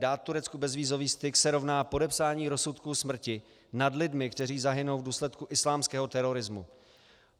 Dát Turecku bezvízový styk se rovná podepsání rozsudku smrti nad lidmi, kteří zahynou v důsledku islámského terorismu.